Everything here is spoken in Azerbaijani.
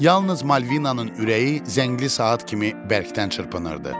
Yalnız Malvinanın ürəyi zəngli saat kimi bərkdən çırpınırdı.